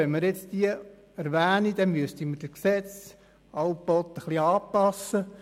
Wenn wir alle Mittel erwähnen wollten, müssten wir das Gesetz immer wieder anpassen.